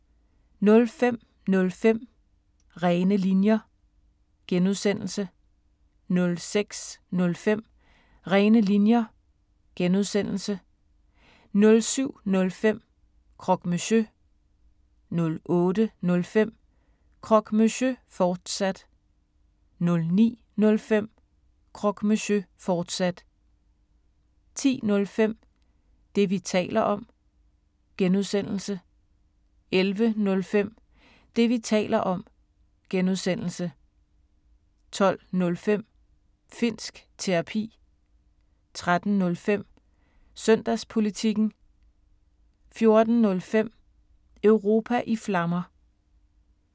05:05: Rene Linjer (G) 06:05: Rene Linjer (G) 07:05: Croque Monsieur 08:05: Croque Monsieur, fortsat 09:05: Croque Monsieur, fortsat 10:05: Det, vi taler om (G) 11:05: Det, vi taler om (G) 12:05: Finnsk Terapi 13:05: Søndagspolitikken 14:05: Europa i Flammer